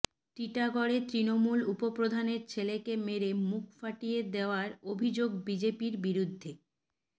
টিটাগড়ে তৃণমূল উপ প্রধানের ছেলেকে মেরে মুখ ফাটিয়ে দেওয়ার অভিযোগ বিজেপির বিরুদ্ধে